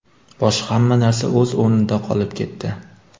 Boshqa hamma narsa o‘z o‘rnida qolib ketdi.